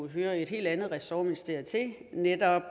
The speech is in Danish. hører et helt andet ressortministerium til netop